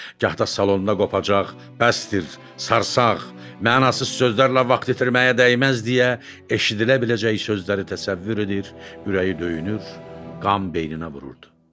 Gah da salonda qopacaq, bəsdir, sarsaq, mənasız sözlərlə vaxt itirməyə dəyməz deyə eşidilə biləcək sözləri təsəvvür edir, ürəyi döyünür, qan beyninə vururdu.